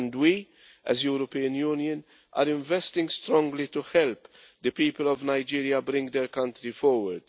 We, as the European Union, are investing strongly to help the people of Nigeria bring their country forward.